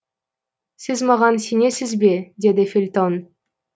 сіз маған сенесіз бе деді фельтон